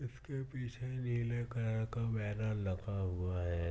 इसके पीछे नीले कलर का बैनर लगा हुआ है।